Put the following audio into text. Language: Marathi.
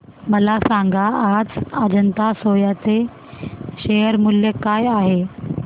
मला सांगा आज अजंता सोया चे शेअर मूल्य काय आहे